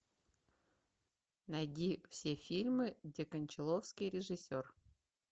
найди все фильмы где кончаловский режиссер